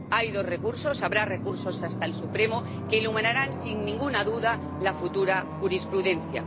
Hay dos recursos, habrá recursos ante el Tribunal Supremo, que iluminarán sin ninguna duda la futura jurisprudencia.